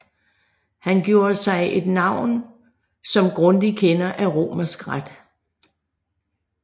Han gjorde sig et navn som grundig kender af romersk ret